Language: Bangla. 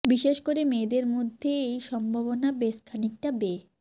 বিশেষ করে মেয়েদের মধ্যে এই সম্ভাবনা বেশ খানিকটা বে